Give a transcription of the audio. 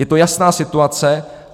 Je to jasná situace.